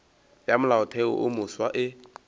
ya molaotheo wo mofsa e